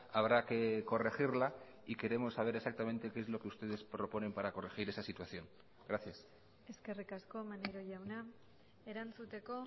habrá que corregirla y queremos saber exactamente qué es lo que ustedes proponen para corregir esa situación gracias eskerrik asko maneiro jauna erantzuteko